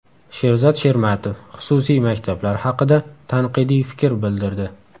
Sherzod Shermatov xususiy maktablar haqida tanqidiy fikr bildirdi.